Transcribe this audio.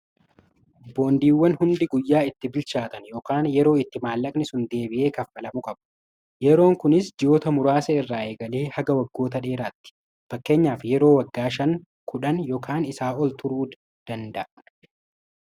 Boondiiwwan hundi guyyaa itti bilchaatan yookaan yeroo itti maallaqni sun deebi'ee kaffalamu qabu. Yeroon kunis ji'oota muraasa irraa eegalee haga waggoota dheeraatti fakkeenyaaf yeroo waggaa 51 fi isaa ol turuu danda'a.